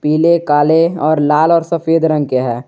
पिले काले और लाल और सफेद रंग के हैं।